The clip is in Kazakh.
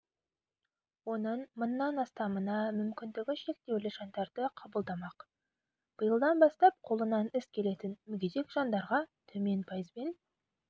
оның мыңнан астамына мүмкіндігі шектеулі жандарды қабылдамақ биылдан бастап қолынан іс келетін мүгедек жандарға төмен пайызбен